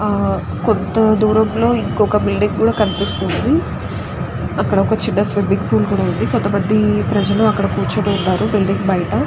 ఆ కొంత దూరంలో వనకోక బిల్డింగ్ కూడా కనిపిస్తుంది. అక్కడ ఒక చిన్న స్విమ్మింగ్ పూల్ కూడా ఉంది. అక్కడ కొంతమంది ప్రజలు అక్కడ కూర్చుని ఉన్నారు బిల్డింగ్ బయట.